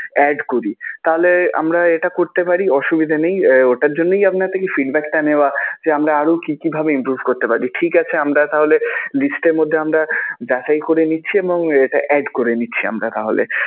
add করি তাহলে আমরা এটা করতে পারি অসুবিধা নেই. আহ ওটার জন্যই আপনার থেকে feedback টা নেওয়া যে আমরা আরও কি কি ভাবে improve করতে পারি. ঠিক আছে আমরা তাহলে list এর মধ্যে আমরা যাচাই করে নিচ্ছি এবং এটা add করে নিচ্ছি আমরা তাহলে.